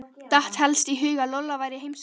Datt helst í hug að Lolla væri í heimsókn.